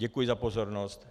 Děkuji za pozornost.